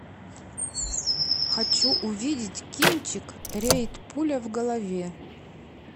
хочу увидеть кинчик рейд пуля в голове